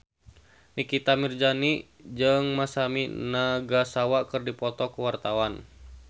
Nikita Mirzani jeung Masami Nagasawa keur dipoto ku wartawan